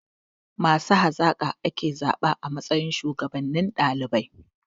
Masu hazaka ake zaɓa a matsayin shuwagabannin ɗalibai.